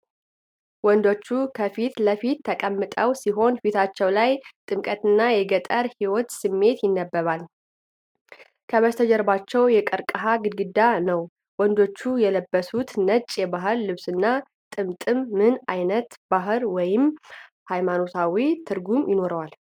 ወንዶቹ ከፊት ለፊት ተቀምጠው ሲሆን ፊታቸው ላይ ጥምቀትና የገጠር ሕይወት ስሜቶች ይነበባሉ፤ ከበስተጀርባ የቀርከሃ ግድግዳነው። ወንዶቹ የለበሱት ነጭ የባህል ልብስና ጥምጥም ምን ዓይነት ባህላዊ ወይም ሃይማኖታዊ ትርጉም ይኖረዋል?